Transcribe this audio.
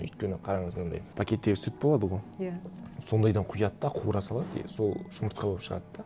өйткені қараңыз мынандай пакеттегі сүт болады ғой иә сондайдан құяды да қуыра салады и сол жұмыртқа болып шығады да